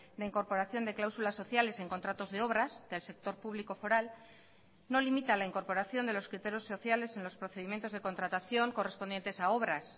la incorporación de cláusulas sociales en contratos de obras del sector público foral no limita la incorporación de los criterios sociales en los procedimientos de contratación correspondientes a obras